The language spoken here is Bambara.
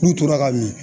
N'u tora ka min